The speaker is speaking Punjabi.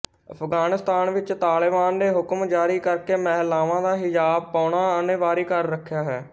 ਅਫਗਾਨਿਸਤਾਨ ਵਿੱਚ ਤਾਲਿਬਾਨ ਨੇ ਹੁਕਮ ਜਾਰੀ ਕਰਕੇ ਮਹਿਲਾਵਾਂ ਦਾ ਹਿਜਾਬ ਪਾਉਣਾ ਅਨਿਵਾਰੀ ਕਰ ਰੱਖਿਆ ਹੈ